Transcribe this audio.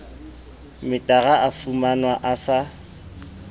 metara o fumanwa o sa